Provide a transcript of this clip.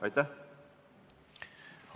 Aitäh!